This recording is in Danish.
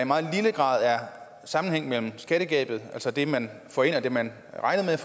meget lille grad af sammenhæng mellem skattegabet altså det man får ind og det man regnede